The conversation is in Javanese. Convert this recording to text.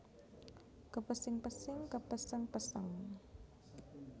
Kepesing pesing kepéséng péséng